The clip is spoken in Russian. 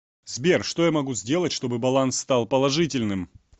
сбер что я могу сделать чтобы баланс стал положительным